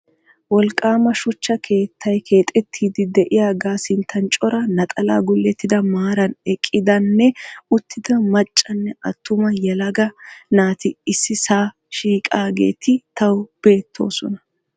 Wolqqaama shuchcha keettay keexettiiddi diyaagaa sinttan cora naxalaa gullottida maaran eqqidanne uttida maccanne attuma yelaga naati issisaa shiiqaageeti tawu beettoosona.